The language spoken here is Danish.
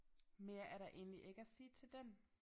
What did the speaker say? Mere er der egentlig ikke at sige til den